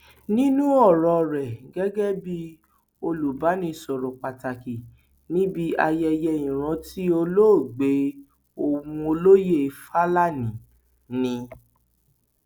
nínú ọrọ rẹ gẹgẹ bíi olùbánisọrọ pàtàkì níbi ayẹyẹ ìrántí olóògbé ohun olóye fálání ni